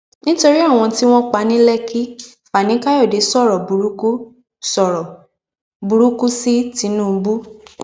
ipele kòlẹ́strol rẹ ti ga àti àwọn enzyme inú ẹ̀dọ̀ rẹ̀ tún ti pọ̀